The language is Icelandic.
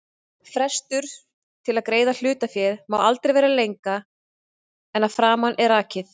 Frestur til að greiða hlutaféð má aldrei vera lengra en að framan er rakið.